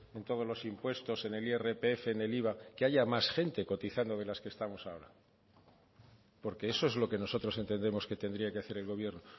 en todos los impuestos en el irpf en el iva que haya más gente cotizando de las que estamos ahora porque eso es lo que nosotros entendemos que tendría que hacer el gobierno